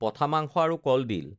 পঠা মাংস আৰু কলডিল